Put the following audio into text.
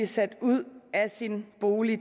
sat ud af sin bolig